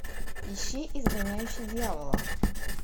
ищи изгоняющий дьявола